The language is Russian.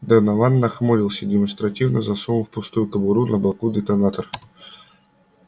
донован нахмурился и демонстративно засунул в пустую кобуру на боку детонатор